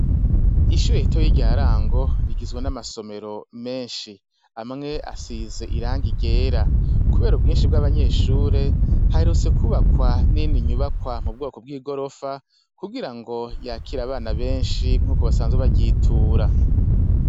Ishure ritoyi rya Rango rigizwe n'amasomero menshi, amwe asize irangi ryera, kubera ubwinshi bw'abanyeshure haherutse kubakwa n'iyindi nyubakwa mu bwoko bw'igorofa kugira ngo yakire abana benshi nkuko basanzwe baryitura.